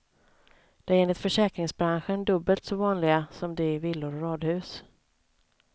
De är enligt försäkringsbranschen dubbelt så vanliga som de i villor och radhus.